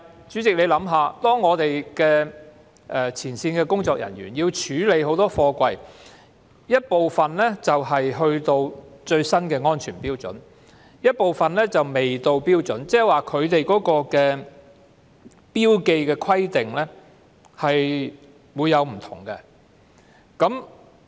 主席，你想想，前線工作人員須處理的大量貨櫃中，有部分已符合最新的安全標準，但亦有部分仍未符合標準，即是標記規定並不相同。